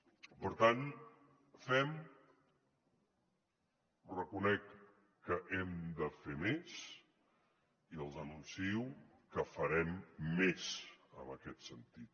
per tant fem reconec que hem de fer més i els anuncio que farem més en aquest sentit